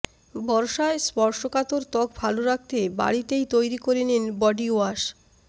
বর্ষায় স্পর্শকাতর ত্বক ভাল রাখতে বাড়িতেই তৈরি করে নিন বডি ওয়াশ